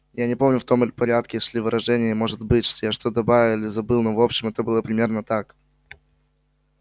я не помню в том ли порядке шли выражения и может быть я что-то добавил или забыл но в общем это было примерно так